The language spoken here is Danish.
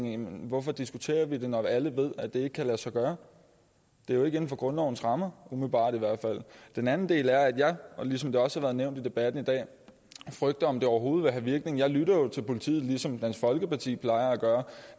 jamen hvorfor diskuterer vi det når alle ved at det ikke kan lade sig gøre det er jo ikke inden for grundlovens rammer umiddelbart i hvert fald den anden del er at jeg ligesom det også har været nævnt i debatten i dag frygter om det overhovedet vil have virkning jeg lytter jo til politiet ligesom dansk folkeparti plejer at gøre